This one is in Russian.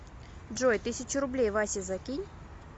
джой тысячу рублей васе закинь